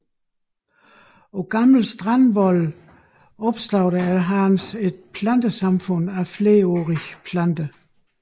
På gamle strandvolde opstår der efterhånden et plantesamfund af flerårige planter